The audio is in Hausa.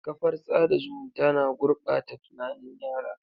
Kafar tsada zumunta na gurɓata tunanin yara.